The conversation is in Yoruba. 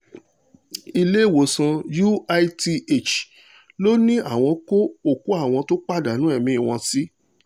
ìlẹ́wọ̀sán uith ló ní àwọn kó òkú àwọn tó pàdánù ẹ̀mí wọn sí